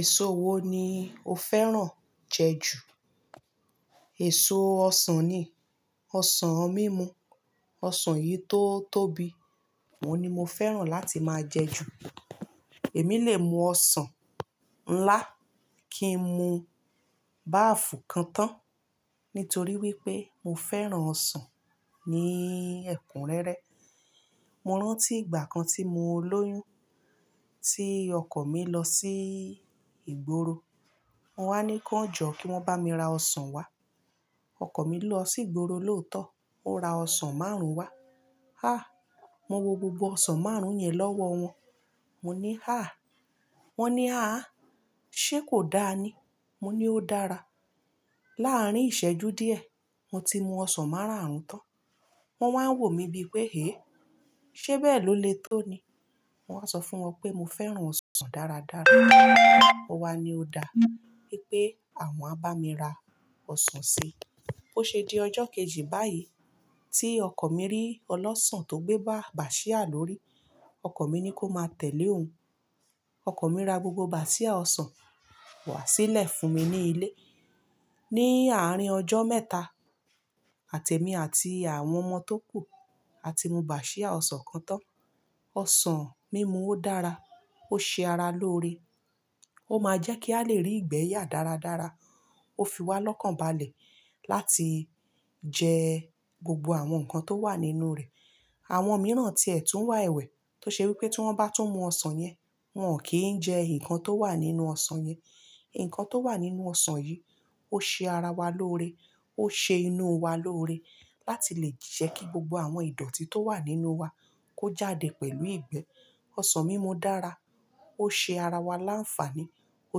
Èso wo ni o fẹ́ràn jẹ jù? Èso ọsàn ni. Ọsàn mímu, ọsàn èyí tó tóbi, òun ni mo fẹ́ràn láti máa jẹ jù. Èmi lè mu ọsàn ńlá kí n mu báàfù kan tán nítorí wípé mo fẹ́ràn ọsàn ní ẹ̀kúnrẹ́rẹ́. Mo rántí ìgbà kan tí mo lóyún, tí ọkọ̀ mi lọ sí ìgboro, mo wá ní kan ó jọ kí wọ́n bá mi ra ọsàn wá. Ọkọ̀ mi lọ sí ìgboro lóòótọ́, ó ra ọsàn márùn-ún wá. Háà! Mo wo gbogbo ọsàn márùn-ún yẹn lọ́wọ́ wọn. Mo ní, "Háà!" Wọn ní, "Àh, ṣe kò dáa ní?" Mo ní, "Ó dára." Láàárín ìṣẹ́jú díẹ̀, mo ti mu ọsàn máràárún tán. Wọn wá ń wò mí bí pé, "Hé, ṣe bẹ́ẹ̀ ló lè tó ni?" Mo wá sọ fún wọn pé mo fẹ́ràn ọsàn dáradára, o wá ní ó dáa, wípé àwọn á bá mi ra ọsàn si. Ó ṣe di ọjọ́ kejì báyìí tí ọkọ mi rí ọlọ́ṣọ̀n tó gbé bá bàsíà lórí, ọkọ mi ní kó máa tẹ̀lé òun. Ọkọ mi ra gbogbo bàsíà ọsàn wá sílẹ̀ fún mi ní ilé. Ni àárín ọjọ́ mẹ́ta, àti èmi àti àwọn ọmọ tó kù á ti mu bàsíà ọsàn kan tán. Ọsàn mímu ó dára, ó ṣe ara lóore. Ó máa jẹ́ kí a lè rí ìgbẹ́ yà dáradára. Ó fi wa lọ́kànbalẹ̀ láti jẹ gbogbo àwọn nǹkan tó wà nínú rẹ̀. Àwọn mìíràn ti ẹ̀ tún wà ẹ̀wẹ̀ tó ṣe wípé tí wọ́n bá tún mu ọsàn yẹn, wọn ò kí ń jẹ nǹkan tó wà nínú ọsàn yẹn. Nǹkan tó wà nínú ọsàn yìí, ó ṣe ara wa lóore, ó ṣe inú wa lóore láti lè jẹ́ kí gbogbo àwọn ìdọ̀tí tó wà nínú wa kó jáde pẹ̀lú ìgbẹ́. Ọsàn mímu dára, ó ṣe ara wa láǹfàní, ó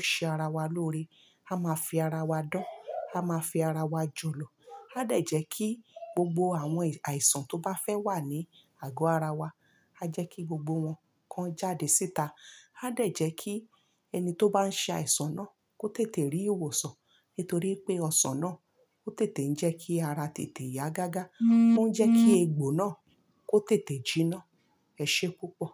ṣe ara wa lóore. A máa fi ara wa dán, a máa fi ara wa jùlọ. A dẹ̀ jẹ́ kí gbogbo àwọn àìsàn tó bá fẹ́ wà ní àgọ́ ara wa, a jẹ́ kí gbogbo wọn kan jáde síta. A dẹ̀ jẹ́ kí ẹni tó bá ń ṣe àìsàn náà kó tètè rí ìwòsàn nítorí pé ọsàn náà ó tètè ń jẹ́ kí ara tètè yá gágá, ó ń jẹ́ kí egbò náà kó tètè jinná. Ẹ̀ṣé púpọ̀.